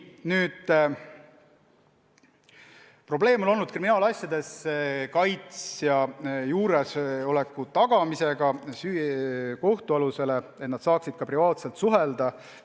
Probleem on olnud kriminaalasjades kaitsja juuresoleku tagamine, nii et ta saaks kaitstavaga ka privaatselt suhelda.